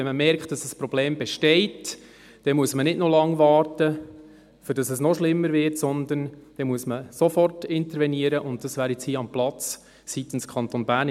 Wenn man merkt, dass ein Problem besteht, muss man nicht noch lange warten, bis es noch schlimmer wird, sondern dann muss man sofort intervenieren, und das wäre jetzt hier am Platz seitens Kanton Bern.